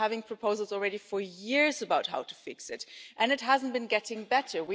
We have been making proposals for years about how to fix it and it hasn't been getting better.